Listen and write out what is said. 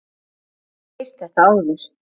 Hafði ekki heyrt þetta áður.